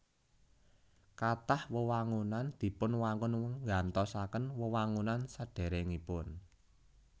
Kathah wewangunan dipunwangun nggantosaken wewangunan sadèrèngipun